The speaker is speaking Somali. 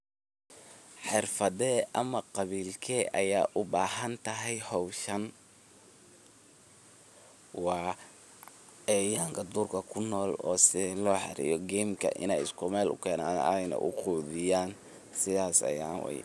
Xirfade ama qabilke aya ubahantahy hoshan wa cayayanka durka kunol oo si loxareyo gemka inay isku mel ukenan aynah uqudiyan sidas ayan.